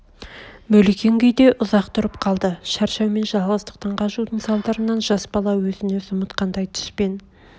мөлиген күйде ұзақ тұрып қалды шаршау мен жалғыздықтан қажудың салдарынан жас бала өзін-өзі ұмытқандай түс пен